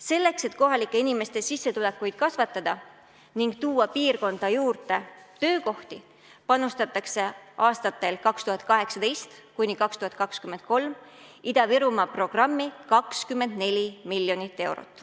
Selleks, et kohalike inimeste sissetulekuid kasvatada ning tuua piirkonda juurde töökohti, panustatakse aastatel 2018–2023 Ida-Virumaa programmi 24 miljonit eurot.